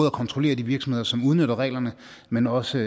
at kontrollere de virksomheder som udnytter reglerne men også